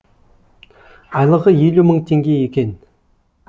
айлығы елу мың теңге екен